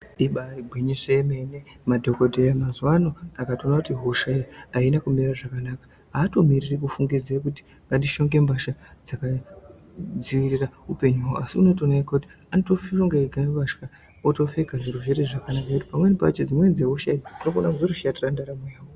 Ibari gwinyiso yemene, madhokodheya mazuwa ano akatoona kuti hosha iyi haina kumira zvakanaka haatomiriri kufungidze kuti ngatishonge mbasha dzakadziirira upenyu hwawo. Asi anotoona ega kuti otoshonga ega mbatya, otopfeka zviro zvotoita zvakanaka. Pamweni pacho dzimweni dzehosha idzi dzinotozokona kuzotoshatira ndaramo yawo.